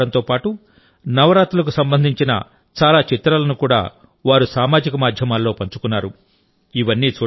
గుజరాతీ ఆహారంతో పాటు నవరాత్రులకు సంబంధించిన చాలా చిత్రాలను కూడా వారు సామాజిక మాధ్యమాల్లో పంచుకున్నారు